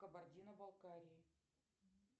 кабардино балкарии